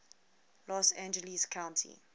los angeles county